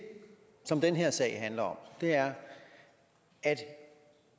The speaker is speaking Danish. som den her sag handler om er at